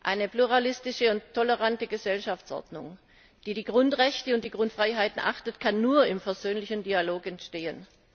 Eine pluralistische und tolerante Gesellschaftsordnung, die die Grundrechte und Grundfreiheiten achtet, kann nur im versöhnlichen Dialog entstehen.